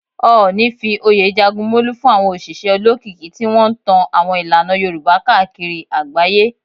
Ooni fi oyè Jagunmolu fún àwọn òṣìṣẹ́ olókìkí tí wọ́n ń tan àwọn ìlànà Yorùbá káàkiri agbaye.